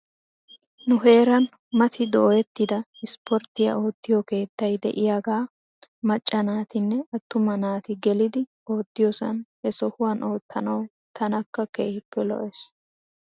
Nu heeran mati dooyettida ispporttiyaa oottiyoo keettay de'iyaaga macca naatinne attuma naati gelidi oottiyoosan he sohuwan oottanaw tanakka keehippe lo'es.